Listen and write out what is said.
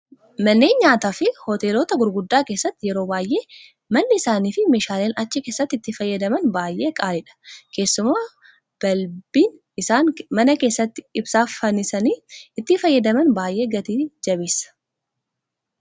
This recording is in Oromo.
Manneen nyaataa fi hoteelota gurguddaa keessatti yeroo baay'ee manni isaanii fi meeshaaleen achi keessatti itti fayyadaman baay'ee qaaliidha. Keessumaa balbiin isaan mana keessatti ibsaaf fannisanii itti fayyadaman baay'ee gatii jabeessa